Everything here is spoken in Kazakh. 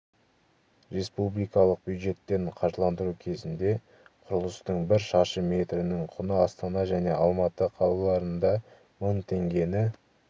республикалық бюджеттен қаржыландыру кезінде құрылыстың бір шаршы метрінің құны астана және алматы қалаларында мың теңгені